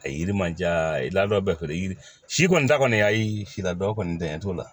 A ye yiri ma diya i ladon bɛɛ fɛ yiri si kɔni ta kɔni ayi si la dɔ o kɔni tɛ n t'o la